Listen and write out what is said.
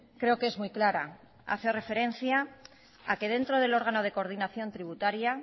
creo que es muy clara hace referencia a que dentro del órgano de coordinación tributaria